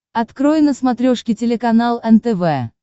открой на смотрешке телеканал нтв